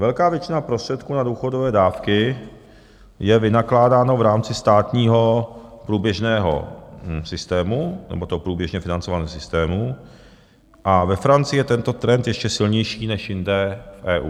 Velká většina prostředků na důchodové dávky je vynakládána v rámci státního průběžného systému, nebo toho průběžně financovaného systému, a ve Francii je tento trend ještě silnější než jinde v EU.